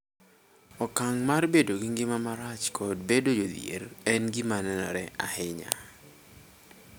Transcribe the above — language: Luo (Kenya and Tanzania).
Okang� mar bedo gi ngima marach kod bedo jodhier en gima nenore ahinya.